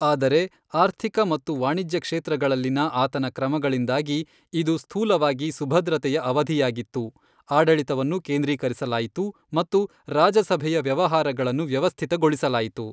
ಆದರೆ ಆರ್ಥಿಕ ಮತ್ತು ವಾಣಿಜ್ಯ ಕ್ಷೇತ್ರಗಳಲ್ಲಿನ ಆತನ ಕ್ರಮಗಳಿಂದಾಗಿ, ಇದು ಸ್ಥೂಲವಾಗಿ ಸುಭದ್ರತೆಯ ಅವಧಿಯಾಗಿತ್ತು, ಆಡಳಿತವನ್ನು ಕೇಂದ್ರೀಕರಿಸಲಾಯಿತು ಮತ್ತು ರಾಜಸಭೆಯ ವ್ಯವಹಾರಗಳನ್ನು ವ್ಯವಸ್ಥಿತಗೊಳಿಸಲಾಯಿತು.